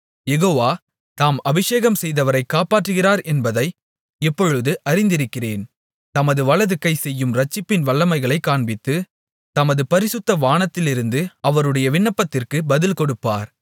யெகோவா தாம் அபிஷேகம்செய்தவரைக் காப்பாற்றுகிறார் என்பதை இப்பொழுது அறிந்திருக்கிறேன் தமது வலதுகை செய்யும் இரட்சிப்பின் வல்லமைகளைக் காண்பித்து தமது பரிசுத்த வானத்திலிருந்து அவருடைய விண்ணப்பத்திற்கு பதில்கொடுப்பார்